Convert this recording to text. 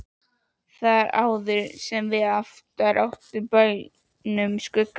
Þar áðum við sem oftar á bænum Skuggahlíð.